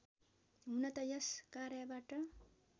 हुन त यस कार्यबाट